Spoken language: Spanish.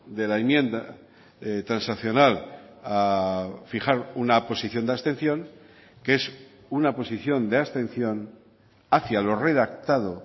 de la enmienda transaccional a fijar una posición de abstención que es una posición de abstención hacia lo redactado